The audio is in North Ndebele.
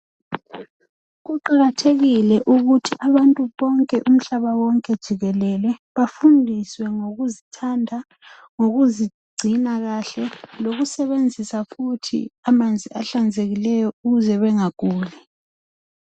kuqakathekile ukuthi abantu bonke umhlaba wonke jikelele bafundiswe ngokuzithanda lokuzigcina kahle lokusebenzisa futhi amanzi ahlanzekileyo ukuze bangaguli